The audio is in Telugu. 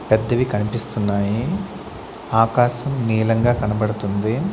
పెద్దవి కనిపిస్తున్నాయి ఆకాశం నీలంగా కనపడుతుంది.